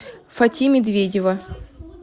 фати медведева